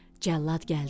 Cəllad gəldi.